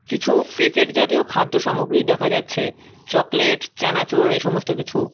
কিছু প্যাকেট জাতীয় খাদ্য সামগ্রী দেখা যাচ্ছে চকলেট চানাচুর এই সমস্ত কিছু।